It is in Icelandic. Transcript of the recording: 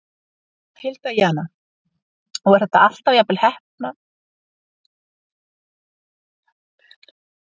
Hilda Jana: Og er þetta alltaf jafnvel heppnað hjá þeim?